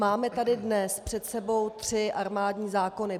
Máme tady dnes před sebou tři armádní zákony.